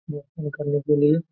यहां काम करने के लिए।